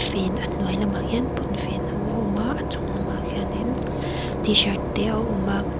fen a hnuai lamah hian pawnfen ho a awm a a chung lamah khianin tshirt te a awm a--